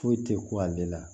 Foyi tɛ ko ale la